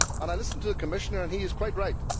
I listened to the Commissioner and he is quite right.